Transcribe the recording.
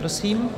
Prosím.